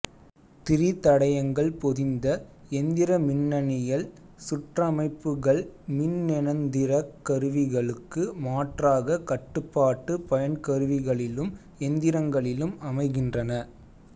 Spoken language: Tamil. திரிதடையங்கள் பொதிந்த எந்திரமின்னனியல் சுற்றமைப்புகள்மின்னெந்திரக் கருவிகளுக்கு மாற்றாக கட்டுபாட்டு பயன்கருவிகளிலும் எந்திரங்களிலும் அமைகின்றன